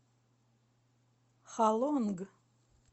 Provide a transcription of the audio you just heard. халонг